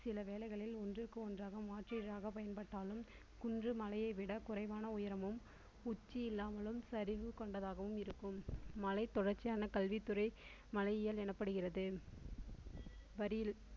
சில வேலைகளில் ஒன்றுக்கு ஒன்றாக மாற்றியதாக பயன்பட்டாலும் குன்று மலையை விட குறைவான உயரமும் உச்சி இல்லாமலும் சரிவு கொண்டதாகவும் இருக்கும். மலை தொடர்ச்சியான கல்வித்துறை மலையியல் எனப்படுகிறது வரியில்